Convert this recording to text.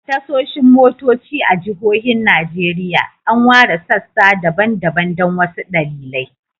A tashoshin motoci a jihohin Najeriya, an ware sassa daban-daban don wasu dalilai.